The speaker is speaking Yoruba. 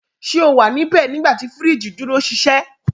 Ṣe o wa nibẹ nigbati firiji duro ṣiṣẹ?